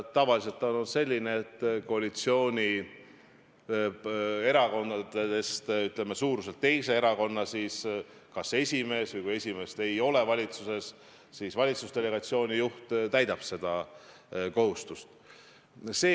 Tavaliselt on see olnud selline, et suuruselt teise koalitsioonierakonna kas esimees või valitsusdelegatsiooni juht täidab seda kohustust.